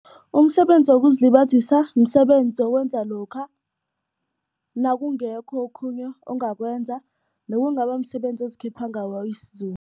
Umsebenzi wokuzilibazisa msebenzi owenza lokha nakungekho okhunye ongakwenza nowungaba msebenzi ozikhipha ngawo